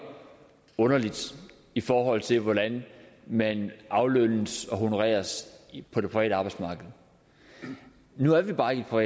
underlige i forhold til hvordan man aflønnes og honoreres på det private arbejdsmarked nu er vi bare ikke på